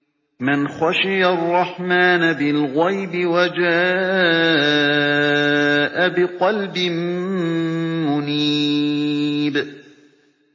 مَّنْ خَشِيَ الرَّحْمَٰنَ بِالْغَيْبِ وَجَاءَ بِقَلْبٍ مُّنِيبٍ